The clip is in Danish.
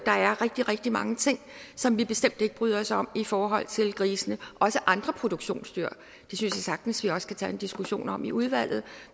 er rigtig rigtig mange ting som vi bestemt ikke bryder os om i forhold til grisene også andre produktionsdyr det synes jeg sagtens vi også kan tage en diskussion om i udvalget